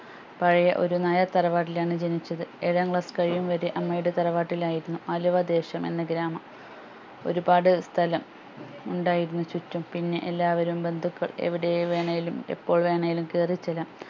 പഴയ ഒരു നായർ തറവാട്ടിൽ ആണ് ജനിച്ചത് ഏഴാം class കഴിയും വരെ അമ്മയുടെ തറവാട്ടിൽ ആയിരുന്നു ആലുവ ദേശം എന്ന ഗ്രാമം ഒരുപാട് സ്ഥലം ഉണ്ടായിരുന്നു ചുറ്റും പിന്നെ എല്ലാവരും ബന്ധുകൾ എവിടെ വേണേലും എപ്പോൾ വെണേലും കേറി ചെല്ലാം